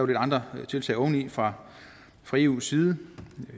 lidt andre tiltag oveni fra fra eus side